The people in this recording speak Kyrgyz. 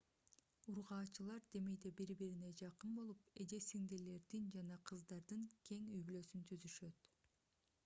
ургаачылар демейде бири-бирине жакын болуп эже-сиңдилердин жана кыздардын кең үй-бүлөсүн түзүшөт